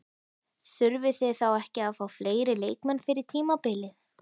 Þurfið þið þá ekki að fá fleiri leikmenn fyrir tímabilið?